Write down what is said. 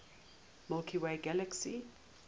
milky way galaxy